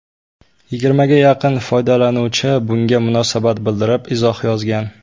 Yigirmaga yaqin foydalanuvchi bunga munosabat bildirib izoh yozgan.